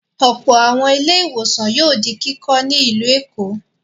Ọ̀pọ̀ àwọn ilé-ìwòsàn yóò di kíkọ́ ní ìlú Èkó.